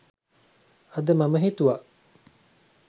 අද මම හිතුවා